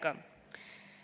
Kolm minutit lisaks.